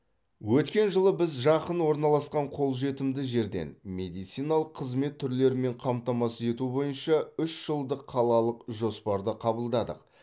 өткен жылы біз жақын орналасқан қолжетімді жерден медициналық қызмет түрлерімен қамтамасыз ету бойынша үш жылдық қалалық жоспарды қабылдадық